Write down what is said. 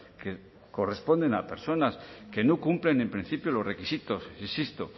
que corresponden a personas que no cumplen en principio los requisitos insisto